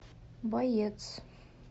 боец